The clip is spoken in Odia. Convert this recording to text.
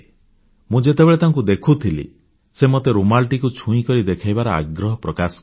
ମୁଁ ଯେତେବେଳେ ତାକୁ ଦେଖୁଥିଲି ସେ ମତେ ରୁମାଲଟିକୁ ଛୁଇଁକରି ଦେଖିବାର ଆଗ୍ରହ ପ୍ରକାଶ କଲେ